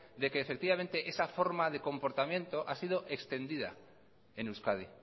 de que efectivamente esa forma de comportamiento ha sido extendida en euskadi